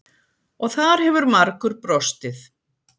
Og þar hefur margur brostið.